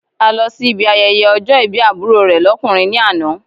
A lọ sí ibi ayẹyẹ ọjọ́ ìbí àbúrò rẹ̀ lọ́kùnrin ní àná.